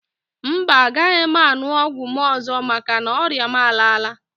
Mba, agaghị m aṅụ ọgwụ m ọzọ maka na ọrịa m a laala.